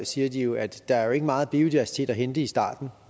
siger de jo at der ikke er meget biodiversitet at hente i starten